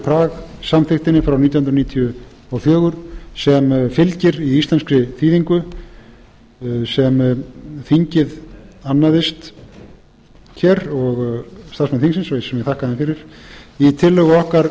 prag samþykktinni frá nítján hundruð níutíu og fjögur sem fylgir í íslenskri þýðingu sem þingið annaðist hér og starfsmenn sem ég þakka þeim fyrir í tillögu okkar